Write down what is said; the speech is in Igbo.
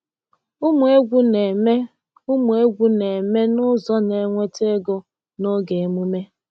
Ụmụ egwu na-eme Ụmụ egwu na-eme n’ụzọ na-enweta ego n’oge emume.